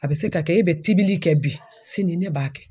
A be se ka kɛ e bɛ tibili kɛ bi, sini ne b'a kɛ.